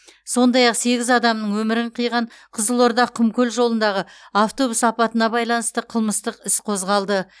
сондай ақ сегіз адамның өмірін қиған қызылорда құмкөл жолындағы автобус апатына байланысты қылмыстық іс қозғалды